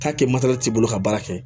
K'a kɛ materɛli ka baara kɛ